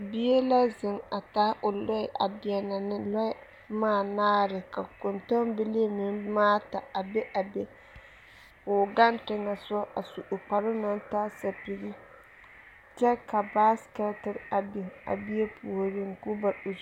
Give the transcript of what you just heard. Bie la zeŋ a taa o lɔɛ a deɛnɛ lɔɛ boma anaare ka kɔntɔmbilii meŋ boma ata a be a be ka o ɡaŋ teŋɛ a su o kparoo na taa sapiɡi kyɛ ka baasekɛte a biŋ a bie puoriŋ.